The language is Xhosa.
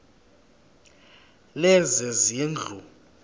lezezindlu